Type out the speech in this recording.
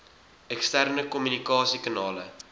eksterne kommunikasie kanale